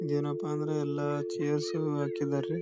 ಏನಪ್ಪಾ ಅಂದ್ರ ಎಲ್ಲ ಚೈರ್ಸ್ ಹಾಕಿದ್ದಾರೆ.